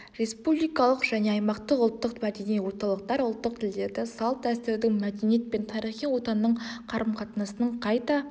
республикалық және аймақтық ұлттық мәдени орталықтар ұлттық тілдерді салт дәстүрдің мәдениет пен тарихи отанның қарымқатынасының қайта